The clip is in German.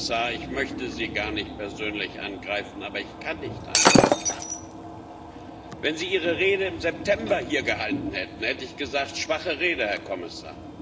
Herr Kommissar, ich möchte Sie gar nicht persönlich angreifen, aber ich kann nicht anders. Wenn Sie Ihre Rede im September hier gehalten hätten, hätte ich gesagt schwache Rede, Herr Kommissar.